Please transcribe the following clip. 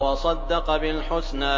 وَصَدَّقَ بِالْحُسْنَىٰ